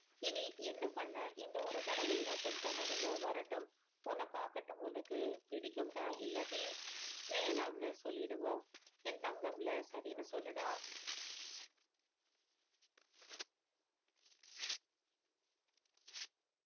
இனி என்ன பண்ண இந்த ஒரு தடவை மட்டும் தான் அவங்க வரட்டும் உன்னை பார்க்கட்டும் உனக்கு பிடிக்கும் தான் இல்லாட்டி வேணாம்னு சொல்லிடுவோம் என் தங்கம்ல சரின்னு சொல்லுடா